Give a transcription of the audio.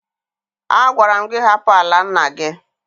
Agwara m gị hapụ ala nna gị!